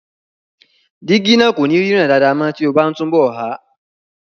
Jígí náà kò ní ríran dáadáa mọ́ tí o bá n túnbọ̀ há